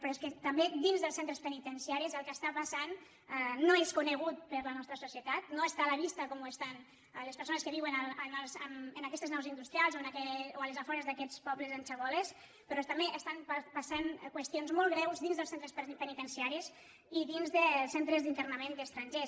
però és que també dins dels centres penitenciaris el que està passant no és conegut per la nostra societat no està a la vista com ho estan les persones que vi·uen en aquestes naus industrials o als afores d’aquests pobles en xaboles però també estan passant qüestions molt greus dins dels centres penitenciaris i dins dels centres d’internament d’estrangers